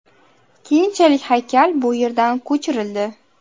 Keyinchalik haykal bu yerdan ko‘chirildi.